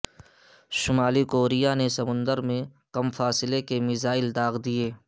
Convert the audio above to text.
شمالی کوریا نے سمندر میں کم فاصلے کے میزائل داغ دیے